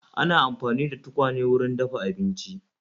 Ana amfani da tukwane wurin dafa abinci